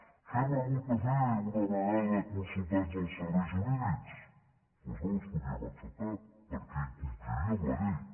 què hem hagut de fer una vegada consultats els serveis jurídics doncs no els podíem acceptar perquè incompliríem la llei